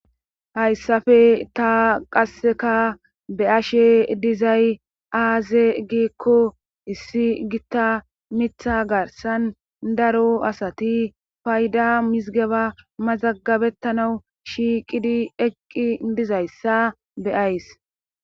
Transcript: Hayssafe ta qasseka be ashe dizay aaze giikko issi gitta mitha garsan daro asati fayda mizigeba mazagabettanau shiiqidi eqqi dizayssa beyays.